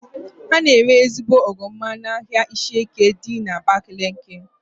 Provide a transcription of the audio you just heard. A na-ere ezigbo oroma n'ahia Ishieke dị n'Abakaliki